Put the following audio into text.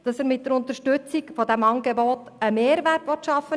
Er will mit der Unterstützung dieses Angebots im Kanton einen Mehrwert schaffen.